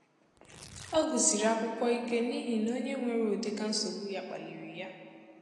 Ọ gụrụ sịrị akwụkwọ ike n’ihi na onye nwere ụdị ka nsogbu ya kpaliri ya.